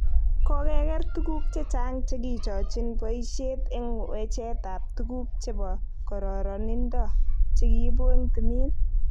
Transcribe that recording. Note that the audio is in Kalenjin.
Kokeger tuguk chechang chekichochin boishet eng wechet tab tuguk chebo kororonido chekiibu eng timin.